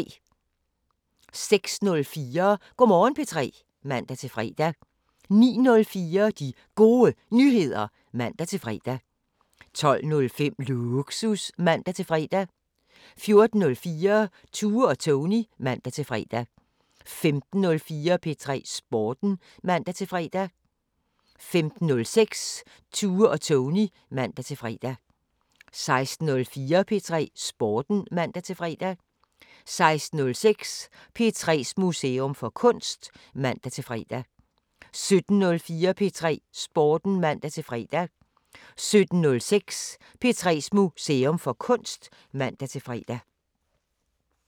06:04: Go' Morgen P3 (man-fre) 09:04: De Gode Nyheder (man-fre) 12:05: Lågsus (man-fre) 14:04: Tue og Tony (man-fre) 15:04: P3 Sporten (man-fre) 15:06: Tue og Tony (man-fre) 16:04: P3 Sporten (man-fre) 16:06: P3's Museum for Kunst (man-fre) 17:04: P3 Sporten (man-fre) 17:06: P3's Museum for Kunst (man-fre)